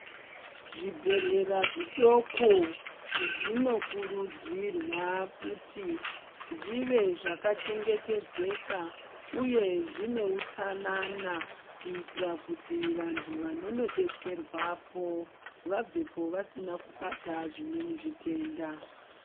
Zvibhedhlera zvidoko zvinokurudzirwa kuti zvive zvakachengetedzeka uye zvine utsanana kuitira kuti vantu vononodetserwapo vabvepo vasina kubata zvimweni zvitenda .